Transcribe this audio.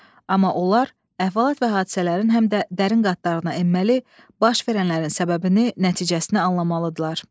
Amma onlar əhvalat və hadisələrin həm də dərin qatlarına enməli, baş verənlərin səbəbini, nəticəsini anlamalıdırlar.